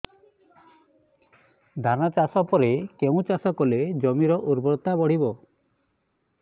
ଧାନ ଚାଷ ପରେ କେଉଁ ଚାଷ କଲେ ଜମିର ଉର୍ବରତା ବଢିବ